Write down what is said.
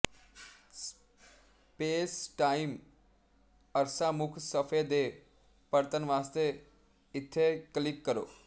spacetime ਅਰਸਾ ਮੁੱਖ ਸਫ਼ੇ ਦੇ ਪਰਤਣ ਵਾਸਤੇ ਇੱਥੇ ਕਲਿੱਕ ਕਰੋ